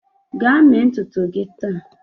Gaa mee ntutu gị taa!